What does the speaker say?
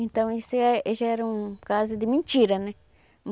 Então isso já era um caso de mentira, né?